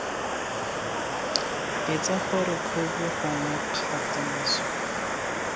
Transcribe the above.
eletsa gore khopi gongwe kgatiso